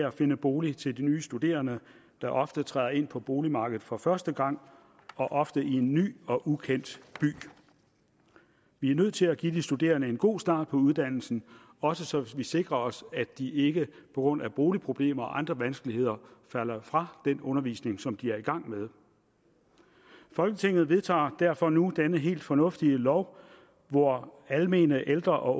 at finde boliger til de nye studerende der ofte træder ind på boligmarkedet for første gang og ofte i en ny og ukendt by vi er nødt til at give de studerende en god start på uddannelsen også så vi sikrer os at de ikke på grund af boligproblemer og andre vanskeligheder falder fra den undervisning som de er i gang med folketinget vedtager derfor nu denne helt fornuftige lov hvor almene ældre og